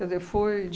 Quer dizer, foi.